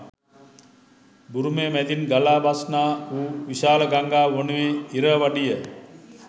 බුරුමය මැඳින් ගලා බස්නා වූ විශාල ගංඟාව වනුයේ ඉරවඩිය.